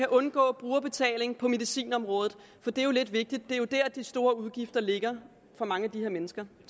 undgå brugerbetaling på medicinområdet det er jo lidt vigtigt det er jo dér de store udgifter ligger for mange af de her mennesker